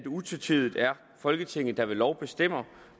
utvetydigt er folketinget der ved lov bestemmer